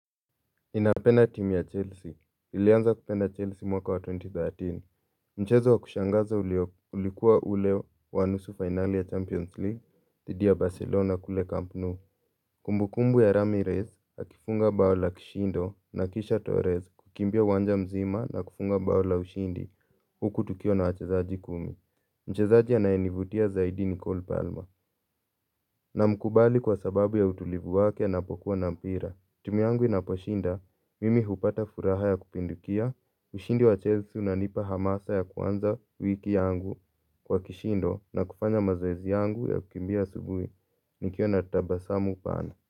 Ninapenda timu ya Chelsea. Nilianza kupenda Chelsea mwaka wa twenty thirteen. Mchezo wa kushangaza ulikuwa ule wa nusu fainali ya Champions League dhidi ya Barcelona kule Camp Nou. Kumbukumbu ya Ramires akifunga bao la kishindo na kisha Torres kukimbia uwanja mzima na kufunga bao la ushindi. Huku tukiwa na wachezaji kumi. Mchezaji anayenivutia zaidi ni Cole Palmer. Namkubali kwa sababu ya utulivu wake anapokuwa na mpira. Timu yangu inaposhinda, mimi hupata furaha ya kupindukia, ushindi wa Chelsea unanipa hamasa ya kuanza wiki yangu kwa kishindo na kufanya mazoezi yangu ya kukimbia asubuhi. Nikiwa na tabasamu pana.